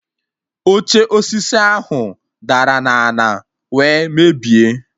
Oche osisi ahụ dara na ana wee mebie